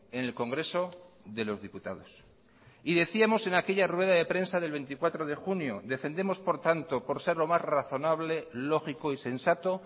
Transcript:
en el congreso de los diputados y decíamos en aquella rueda de prensa del veinticuatro de junio defendemos por tanto por ser lo más razonable lógico y sensato